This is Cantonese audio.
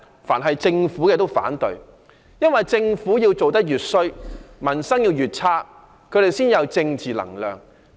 但凡政府提出的全都反對，因為政府做得越壞，民生越差，他們才有政治能量壯大。